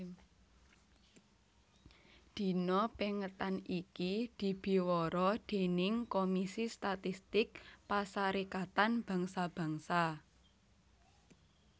Dina pèngetan iki dibiwara déning Komisi Statistik Pasarékatan Bangsa Bangsa